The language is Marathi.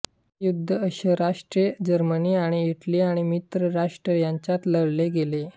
हे युद्ध अक्ष राष्ट्रे जर्मनी आणि इटली आणि मित्र राष्ट्र यांच्यात लढले गेले